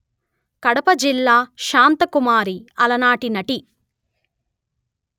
కడప జిల్లాశాంతకుమారి అలనాటి నటి